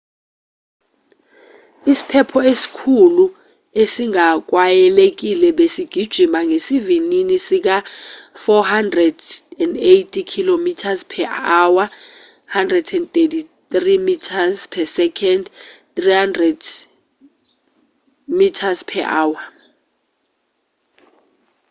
isiphepho esikhulu esingakwayelekile besigijima ngesivinini sika-480 km/h 133 m/s; 300 mph